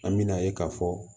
An me na ye ka fɔ